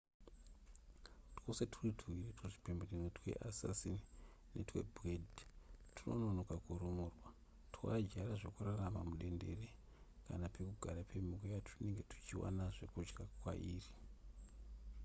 twose twuri tuviri tuzvipembenene tweassassin netwebed twunonoka kurumurwa twakajaira zvekuraramira mudendere kana pekugara pemhuka yatwunenge tuchiwana zvekudya kwairi